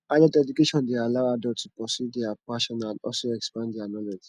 adult education de allow adult to pursue their passion and also expand their knowledge